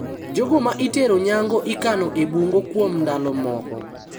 Jogo ma itero nyango ikano e bungo kuom ndalo moko.